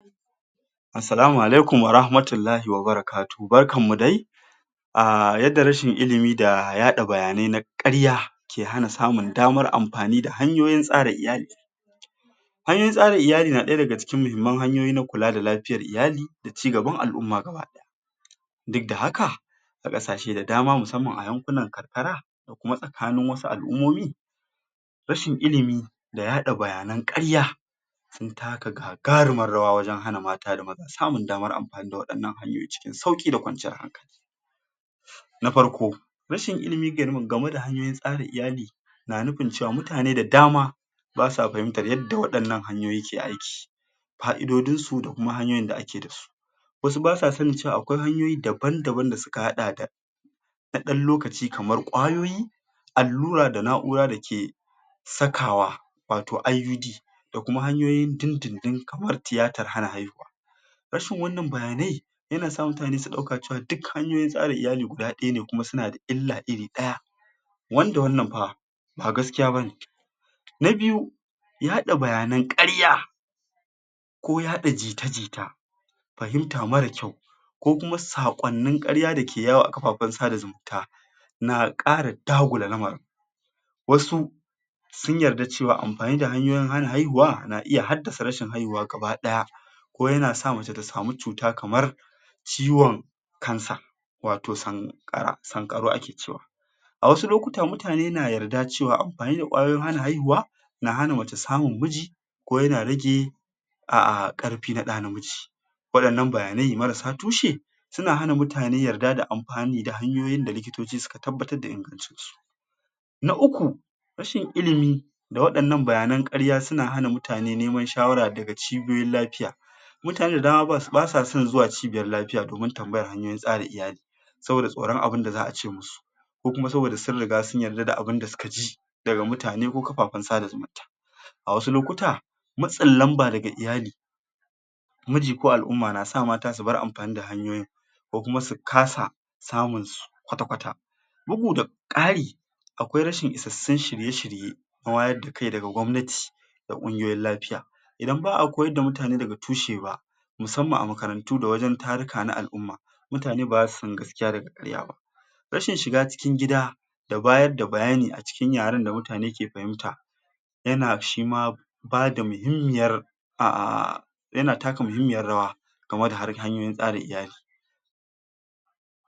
Salama alaikiuma murakatullahu ta'ala barka dai ahh yadda rashin ilimi da yaɗa bayanai na ƙarya bke hana samun damar amfani da hanyoyin tsara iyali. Hanyoyin tsara iyali na ɗaya daga cikin hanyoyin na kula da lafiyar iyali da ci gaban al'umma gaba ɗaya, duk da haka a ƙasashe da dama musamman a yankunan karkara ko tsakanin wasu al'ummomi rashin ilimi da yaɗa bayanan ƙarya na taka gagarimar rawa wajen hana mata da maza damar samin waɗannan hanyoyi cikin sauƙi da kwanciyar hankali. Na farko: Rashin ilimi game da hanyoyin tsarin iyali na nufin cewa mutane da dama basa fahimtar yadda waɗannan hanyoyin suke aiki ka'idodinsu da kuma hanyoyi da ake da su Wasu basa sanin cewa akwai hanyoyi daban-daban da suka haɗa da na ɗan lokaci kamar ƙwayoyi, allura da na'ura dake sakawa wato IUD da kuma hanyoyin dindindin kamar tiyatar hana haihuwa. Rashin wannan bayanai yana sa mutane su ɗauka cewa duka hanyar tsarin iyali guda ɗaya ne kuma suna da illa guda ɗaya, wanda wannan fa ba gaskiya bane. Na biyu: Yaɗa bayanan ƙarya ko yaɗa jita-jita fahimta mara kyau, ko kuma saƙonnin ƙarya dake yawo a kafafen sada zumunta na ƙara dagula lamarin. Wasu sun tarda cewa amfani da hanyoyin hana haihuwa, na iya haddasa rashin haihuwa gaba ɗaya ko yana sa mace ta sami cuta kamar ciwon cancer, wato sanƙa sanƙarau ake cewa. A wasu lokuta mutane na yadda cewa amfani da ƙwayoyin hana haihuwa na hana mace samun miji, ko yana rage a ƙarfi na ɗa namiji. Waɗannan bayanai marasa tushe suna hana mutane yadda da amfani da hanyoyin da likitoci suka tabbatar da ingancin su. Na uku: Rashin ilimi, da waɗannan bayanan ƙarya suna hana mutane neman shawara dahga wurin ciboiyoyin lafiya Mutane da dama ba sa son zuwa cibiyar lafiya domin tambayar hanyoyin tsara iyali saboda tsoron abinda za'a ce musu ko kuma saboda sun riga sun yarda da abinda suka ji, daga miutane ko kafafen sada zumunta. A wasu lokuta matsin lamba daga iyali, miji ko al'umma na sa mata su bar amfani da hanyoyin ko kuma su kasa samun su kwata-kwata. Bugu da ƙari, akwai rashin isassun shirye-shirye, na wayar da kai daga gwamnati da ƙungiyoyin lafiya. Idan ba'a koyar da mutane daga tushe ba, musamman a makarantu da wajen taruka na al'umma mutane ba za su san gaskiya da ƙarya ba. Rashin shiga cikin gida da bayar da bayani a cikin yaren da mutane ke fahimta yana shima bada muhimmiyar aaaahhhh yana taka muhimmiyar rawa game da harkan yin tsarin iyali.